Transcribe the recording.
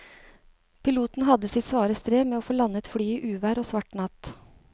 Piloten hadde sitt svare strev med å få landet flyet i uvær og svart natt.